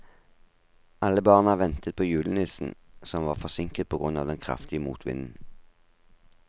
Alle barna ventet på julenissen, som var forsinket på grunn av den kraftige motvinden.